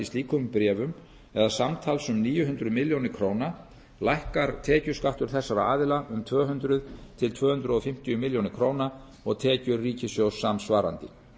slíkum bréfum eða samtals um níu hundruð milljóna króna lækkar tekjuskattur þessara aðila um tvö hundruð til tvö hundruð fimmtíu milljónir króna og tekjur ríkissjóðs samsvarandi